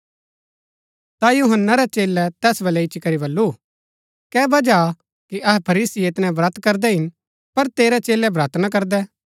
ता यूहन्‍ना रै चेलै तैस बलै इच्ची करी बल्लू कै बजह हा कि अहै फरीसी ऐतनै ब्रत करदै हिन पर तेरै चेलै ब्रत ना करदै